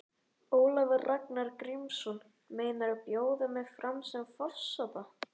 Ólafur Ragnar Grímsson: Meinarðu bjóða mig fram til forseta?